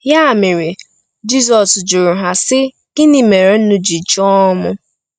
Ya mere, Jizọs jụrụ ha, sị: “Gịnị mere unu ji chọọ m?”